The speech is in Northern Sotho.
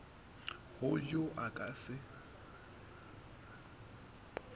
go yo a ka se